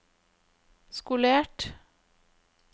skolert